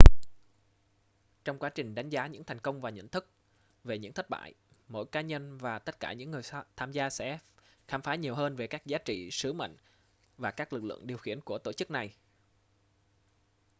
trong quá trình đánh giá những thành công và nhận thức về những thất bại mỗi cá nhân và tất cả những người tham gia sẽ khám phá nhiều hơn về các giá trị sứ mệnh và các lực lượng điều khiển của tổ chức này